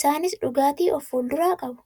isaanis dhugaatii of fuulduraa qabu.